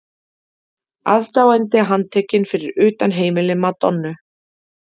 Aðdáandi handtekinn fyrir utan heimili Madonnu